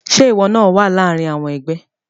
Ṣe iwọ naa wa láàrin àwọn ẹgbẹ?